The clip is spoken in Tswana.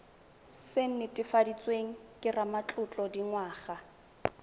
se netefaditsweng ke ramatlotlo dingwaga